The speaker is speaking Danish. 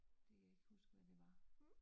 Det kan jeg ikke huske, hvad det var